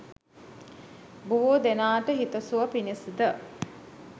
බොහෝ දෙනාට හිතසුව පිණිස ද